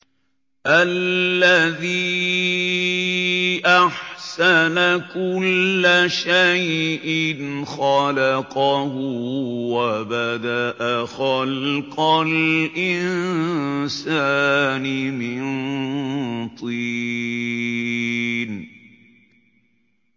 الَّذِي أَحْسَنَ كُلَّ شَيْءٍ خَلَقَهُ ۖ وَبَدَأَ خَلْقَ الْإِنسَانِ مِن طِينٍ